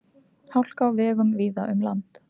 Hálka á vegum víða um land